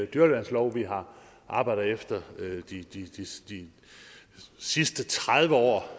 dyreværnslov vi har arbejdet efter i de sidste tredive år